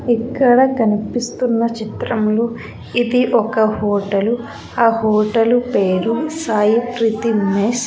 ఇక్కడ కనిపిస్తున్న చిత్రంలో ఇది ఒక హోటలు ఆ హోటలు పేరు సాయి ప్రీతి మెస్ .